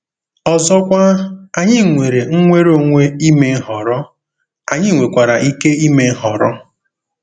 Ọzọkwa, anyị nwere nnwere onwe ime nhọrọ, anyị nwekwara ike ime nhọrọ.